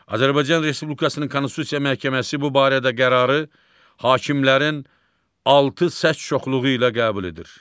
Azərbaycan Respublikasının Konstitusiya Məhkəməsi bu barədə qərarı hakimlərin altı səs çoxluğu ilə qəbul edir.